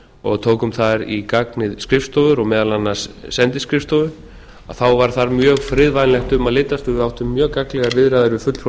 og tókum þar í gagnið skrifstofur og meðal annars sendiskrifstofu þá var þar mjög friðvænlegt um að litast og við áttum mjög gagnlegar viðræður við fulltrúa